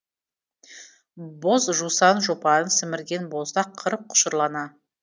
боз жусан жұпарын сімірген боздақ қыр құшырлана